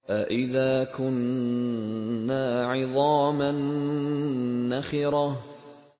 أَإِذَا كُنَّا عِظَامًا نَّخِرَةً